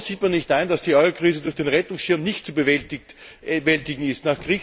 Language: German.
Warum sieht man nicht ein, dass die Euro Krise durch den Rettungsschirm nicht zu bewältigen ist?